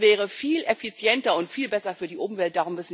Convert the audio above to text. Das wäre viel effizienter und viel besser für die Umwelt.